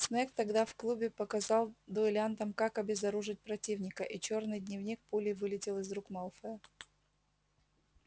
снегг тогда в клубе показал дуэлянтам как обезоружить противника и чёрный дневник пулей вылетел из рук малфоя